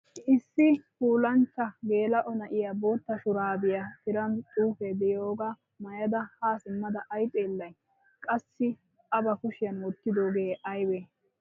Issi puulanchcha gela"o na'iyaa bootta shurabiya tiran xuufe de'iyooga maayada ha simmada ay xeelay? Qassi a ba kushiyan wottidoogee aybbe?